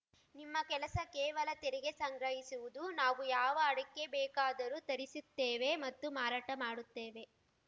ನಿಮ್ಮ ಕೆಲಸ ಕೇವಲ ತೆರಿಗೆ ಸಂಗ್ರಹಿಸುವುದು ನಾವು ಯಾವ ಅಡಕೆ ಬೇಕಾದರೂ ತರಿಸುತ್ತೇವೆ ಮತ್ತು ಮಾರಾಟ ಮಾಡುತ್ತೇವೆ